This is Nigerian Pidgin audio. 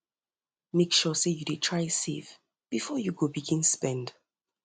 mek sure sey yu dey try save bifor yu begin spend